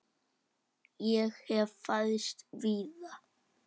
Ég hef fæðst víða.